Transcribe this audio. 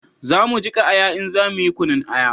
Za mu jika aya in za mu yi kunun aya